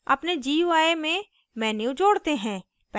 अपने gui में menu जोड़ते हैं